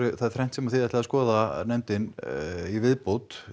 það er þrennt sem þið ætlið að skoða nefndin í viðbót